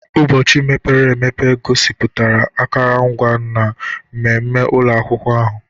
Ụbọchị mepere emepe gosipụtara akụrụngwa na mmemme ụlọ akwụkwọ ahụ.